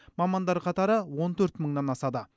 мамандар қатары он төрт мыңнан асады